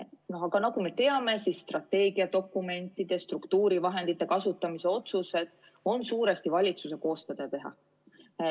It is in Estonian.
Aga nagu me teame, siis strateegiadokumentide, struktuurivahendite kasutamise otsused on suuresti valitsuse koostada ja teha.